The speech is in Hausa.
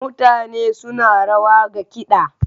Mutane suna rawa ga kiɗa.